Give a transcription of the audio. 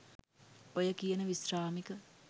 ඔය කියන විශ්‍රාමික